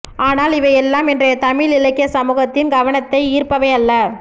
ஆனால் இவையெல்லாம் இன்றைய தமிழ் இலக்கிய சமூகத்தின் கவனத்தை ஈர்ப்பவை அல்ல